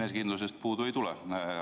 Enesekindlusest teil puudu ei tule.